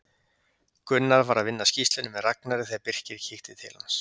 Gunnar var að vinna að skýrslunni með Ragnari þegar Birkir kíkti til hans.